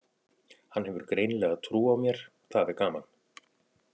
Hann hefur greinilega trú á mér, það er gaman.